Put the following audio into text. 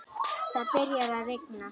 Það byrjar að rigna.